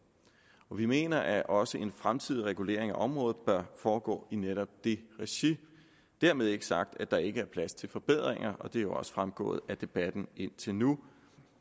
vi mener at også en fremtidig regulering af området bør foregå i netop det regi dermed ikke sagt at der ikke er plads til forbedringer og det er jo også fremgået af debatten indtil nu